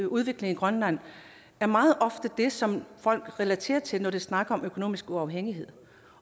udvikling i grønland er meget ofte det som folk relaterer til når de snakker om økonomisk uafhængighed